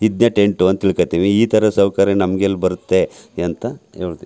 ಇದ್ನೇ tent ಅಂತ ತಿಳಕೊಳ್ಳತ್ತೀವಿ ಇತರ ಸೌಕರ್ಯ ನಮ್ಮಗೆ ಎಲ್ಲಿ ಬರುತ್ತೆ ಎಂತ ಹೇಳ್ದೆ.